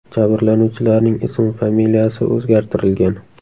Jabrlanuvchilarning ismi familiyasi o‘zgartirilgan.